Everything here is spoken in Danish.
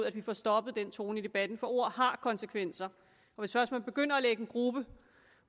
at få stoppet den tone i debatten for ord har konsekvenser hvis først man begynder at lægge en gruppe